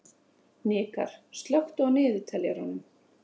Hnikarr, slökktu á niðurteljaranum.